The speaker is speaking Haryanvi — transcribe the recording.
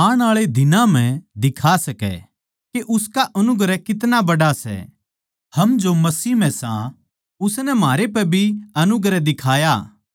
आण आळे दिनां म्ह दिखा सकै के उसका अनुग्रह कितना बड़ा सै हम जो मसीह म्ह सां उसनै म्हारे पै भी अनुग्रह दिखाया गया